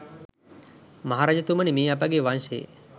මහරජතුමනි, මේ අපගේ වංශයේ